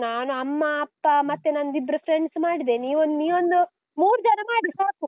ನಾನು ಅಮ್ಮ, ಅಪ್ಪ ಮತ್ತೆ ನಂದು ಇಬ್ರು friend ಮಾಡಿದೆ. ನೀವೊಂದ್ ನೀವೊಂದು ಮೂರ್ಜನ ಮಾಡಿ ಸಾಕು.